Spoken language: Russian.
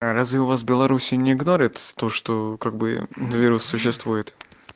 разве у вас в беларуси не игнорят то что как бы вирус существует